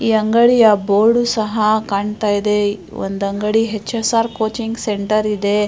ಈ ಅಂಗಡಿಯ ಬೋರ್ಡ್ ಸಹ ಕಾಣ್ತಾ ಇದೆ ಒಂದು ಅಂಗಡಿ H_ S_ R coaching centre ಇದೆ.